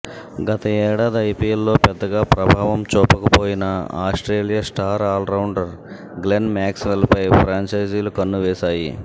గతేడాది ఐపీఎల్లో పెద్దగా ప్రభావం చూపకపోయిన ఆస్ట్రేలియా స్టార్ ఆల్రౌండర్ గ్లెన్ మ్యాక్స్వెల్పై ఫ్రాంఛైజీలు కన్ను వేశాయి